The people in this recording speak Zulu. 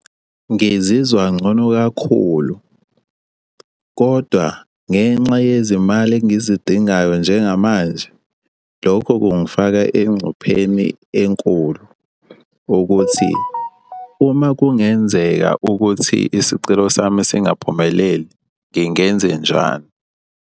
Ngizizwa ngcono kakhulu kodwa ngenxa yezimali engizidingayo njengamanje, lokho kungifaka engcupheni enkulu ukuthi uma kungenzeka ukuthi isicelo sami singaphumeleli ngingenzenjani.